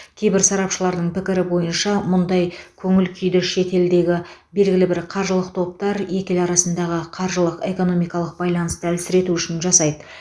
кейбір сарапшылардың пікірі бойынша мұндай көңіл күйді шетелдегі белгілі бір қаржылық топтар екі ел арасындағы қаржылық экономикалық байланысты әлсірету үшін жасайды